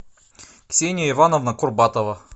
ксения ивановна курбатова